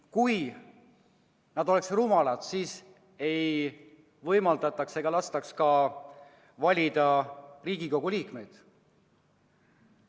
Kui nad oleksid rumalad, siis ei lastaks neil valida Riigikogu liikmeid.